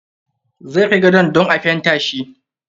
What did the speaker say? Zai kai gadon dan a fenta shi.